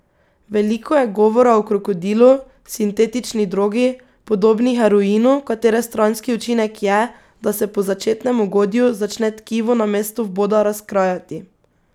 Veliko je govora o krokodilu, sintetični drogi, podobni heroinu, katere stranski učinek je, da se po začetnem ugodju začne tkivo na mestu vboda razkrajati.